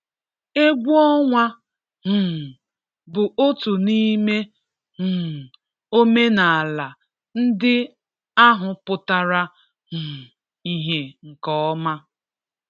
Egwu ọnwa um bụ otu n'ime um omenala ndị ahụ pụtara um ìhe nke ọma.